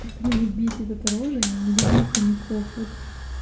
как меня бесит эта рожа я не люблю хомяков вот